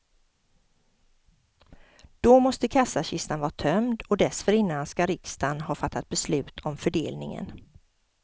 Då måste kassakistan vara tömd och dessförinnan skall riksdagen ha fattat beslut om fördelningen.